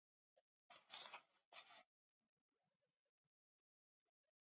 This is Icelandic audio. Voru þau ekki bæði snillingar þessi hjón?